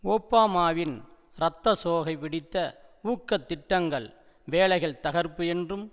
ஒபாமாவின் இரத்தச்சோகை பிடித்த ஊக்க திட்டங்கள் வேலைகள் தகர்ப்பு என்றும்